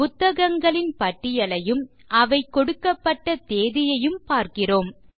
புத்தகங்களின் பட்டியலையும் அவை கொடுக்கப்பட்ட தேதியையும் பார்க்கிறோம்